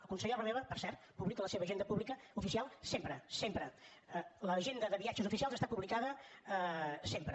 el conseller romeva per cert publica la seva agenda pública oficial sempre sempre l’agenda de viatges oficials està publicada sempre